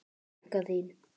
Frænka þín?